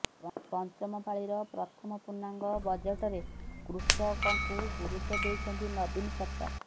ପଞ୍ଚମ ପାଳିର ପ୍ରଥମ ପୂର୍ଣ୍ଣାଙ୍ଗ ବଜେଟରେ କୃଷକଙ୍କୁ ଗୁରୁତ୍ୱ ଦେଇଛନ୍ତି ନବୀନ ସରକାର